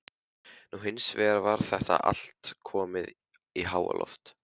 Nú hins vegar var þetta allt komið í háaloft.